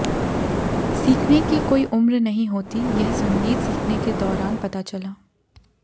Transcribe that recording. सीखने की कोई उम्र नहीं होती यह संगीत सीखने के दौरान पता चला